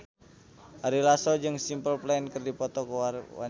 Ari Lasso jeung Simple Plan keur dipoto ku wartawan